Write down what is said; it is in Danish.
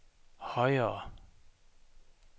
højere